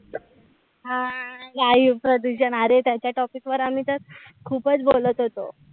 हा वायू प्रदूषण! अरे त्याच्या topic वर आम्ही तर खूपच बोलत होतो.